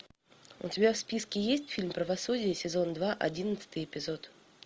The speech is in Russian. у тебя в списке есть фильм правосудие сезон два одиннадцатый эпизод